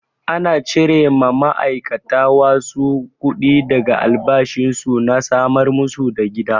Ana cire ma ma'aikata wasu kuɗi daga albashin su na samar masu da gida.